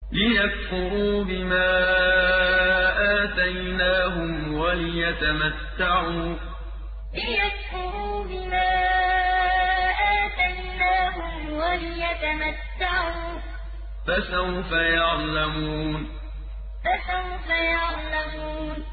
لِيَكْفُرُوا بِمَا آتَيْنَاهُمْ وَلِيَتَمَتَّعُوا ۖ فَسَوْفَ يَعْلَمُونَ لِيَكْفُرُوا بِمَا آتَيْنَاهُمْ وَلِيَتَمَتَّعُوا ۖ فَسَوْفَ يَعْلَمُونَ